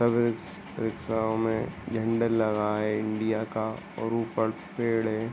सभी रिक्शायों मे झंडा लगा है इंडिया का और ऊपर पेड़ हैं।